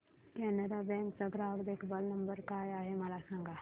Canara bank चा ग्राहक देखभाल नंबर काय आहे मला सांगा